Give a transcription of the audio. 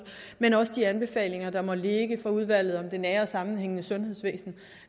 men også de anbefalinger der måtte ligge fra udvalget om det nære sammenhængende sundhedsvæsen